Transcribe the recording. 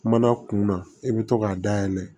Kuma na kun na i bɛ to k'a dayɛlɛ